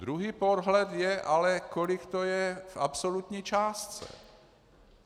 Druhý pohled je ale, kolik to je v absolutní částce.